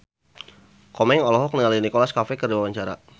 Komeng olohok ningali Nicholas Cafe keur diwawancara